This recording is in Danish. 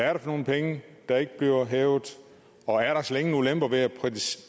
er det for nogle penge der ikke bliver hævet og er der slet ingen ulemper ved at